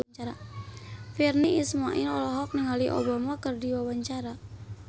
Virnie Ismail olohok ningali Obama keur diwawancara